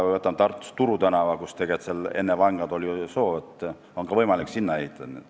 Või võtame Tartus Turu tänava, kus enne vanglat oli soo, nüüd aga on võimalik ka sinna ehitada.